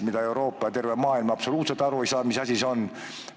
Muu Euroopa ja terve maailm üldse ei saa aru, mis asi see on.